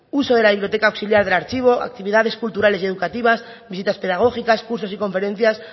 uso de la biblioteca auxiliar del archivo actividades culturales y educativas visitas pedagógicas cursos y conferencias